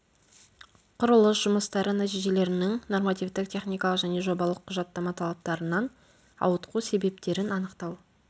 құрылыс жұмыстары нәтижелерінің нормативтік техникалық және жобалық құжаттама талаптарынан ауытқу себептерін анықтау